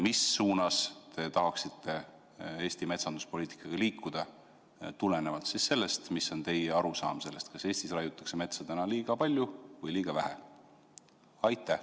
Mis suunas te tahaksite Eesti metsanduspoliitikaga liikuda tulenevalt sellest, mis on teie arusaam sellest, kas Eestis raiutakse metsa liiga palju või liiga vähe?